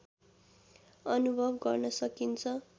अनुभव गर्न सकिन्छ